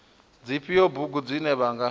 dzifhio bugu dzine vha nga